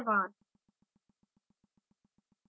iit bombay से मैं जया आपसे विदा लेती हूँ धन्यवाद